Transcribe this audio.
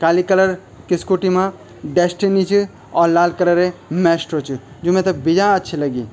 काली colour कि scooty मा Destini च और लाल कलरे मेस्ट्रो च जु मैथे बियां अच्छी लगीं।